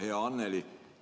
Hea Anneli!